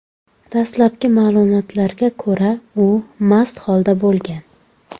Dastlabki ma’lumotlarga ko‘ra, u mast holda bo‘lgan.